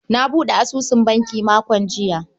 Na buɗe asusun banki makon jiya.